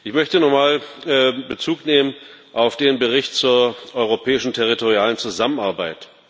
Ich möchte nochmal Bezug nehmen auf den Bericht zur europäischen territorialen Zusammenarbeit.